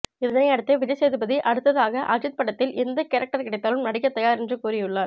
இதனையடுத்து விஜய் சேதுபதி அடுத்ததாக அஜித் படத்தில் எந்த கேரக்டர் கிடைத்தாலும் நடிக்க தயார் என்று கூறியுள்ளார்